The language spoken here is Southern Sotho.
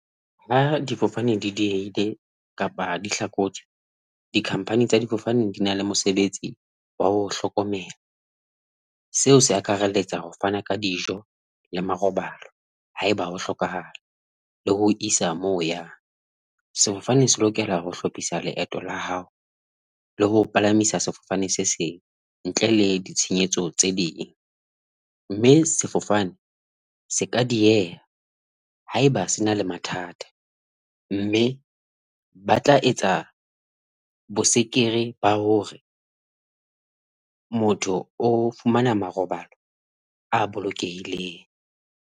Ha di fofane di diehile kapa di hlakotswe, di-company tsa difofane di na le mosebetsi wa ho o hlokomela. Seo se akaraletsa ho fana ka dijo le marobalo. Haeba ho hlokahala le ho o isa moo o yang sefofane, se lokela ho hlophisa leeto la hao le ho o palamisa sefofane se seng ntle le ditshenyetso tse ding, mme sefofane se ka dieha haeba se na le mathata mme ba tla etsa bosekere ba hore motho o fumana marobalo a bolokehileng.